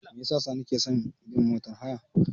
Me yasa Sani ke son bin motar haya?